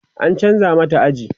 an chanza mata aji